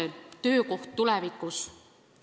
Kuidas on lapse töökohaga tulevikus?